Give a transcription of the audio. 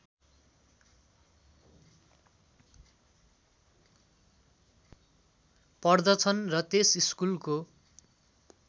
पढ्दछन् र त्यस स्कुलको